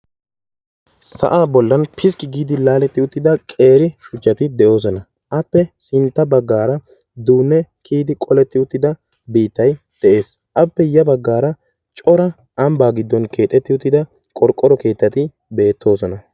sa'aa bolan piskki gi uttida shuchchay de'ees. appe hini bagaara qassi duunne biitay de'ees. appe ya bagaara cora ambaa giddon keexetti jutida keetati beetoosona.